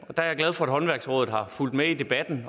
er jeg glad for at håndværksrådet har fulgt med i debatten